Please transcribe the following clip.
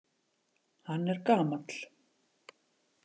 Hann er gamall.